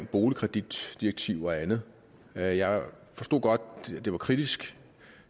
boligkreditdirektivet og andet jeg jeg forstod godt at det var kritisk